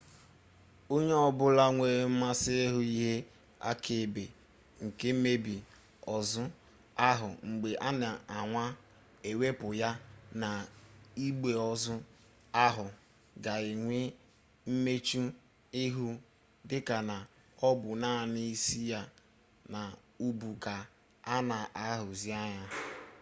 onye-obula nwere mmasi ihu ihe-akaebe nke mmebi ozu ahu mgbe ana anwa iwepu ya na igbe-ozu ahu ga enwe mmechu-ihu dika na obu nani isi ya na ubu ka ana ahuzi anya